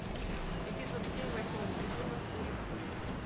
эпизод семь восьмого сезона фури кури